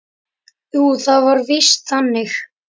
Jú, það var víst þannig.